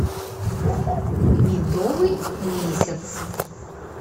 медовый месяц